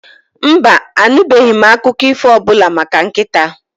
Mba, anụbeghị m akụkọ ífò ọbụla maka nkịta?